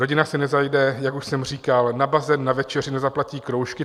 Rodina si nezajde, jak už jsem říkal, na bazén, na večeři, nezaplatí kroužky.